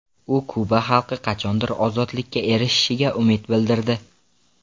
U Kuba xalqi qachondir ozodlikka erishishiga umid bildirdi.